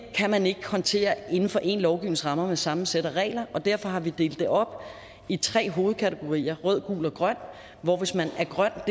kan man ikke håndtere inden for én lovgivnings rammer med samme sæt af regler og derfor har vi delt det op i tre hovedkategorier rød gul og grøn hvis man er grøn